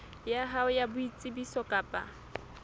ya hao ya boitsebiso kapa